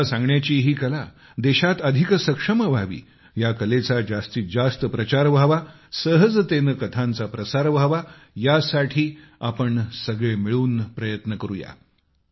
कथा सांगण्याची ही कला देशात अधिक सक्षम व्हावी या कलेचा जास्तीत जास्त प्रचार व्हावा सहजतेने कथांचा प्रसार व्हावा यासाठी आपण सगळे मिळून प्रयत्न करूया